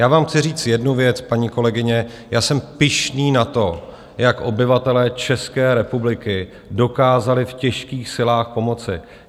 Já vám chci říct jednu věc, paní kolegyně, já jsem pyšný na to, jak obyvatelé České republiky dokázali v těžkých silách pomoci.